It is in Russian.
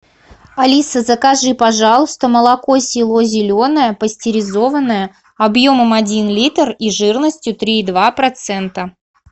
алиса закажи пожалуйста молоко село зеленое пастеризованное объемом один литр и жирностью три и два процента